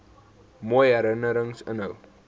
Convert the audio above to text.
mooi herinnerings inhou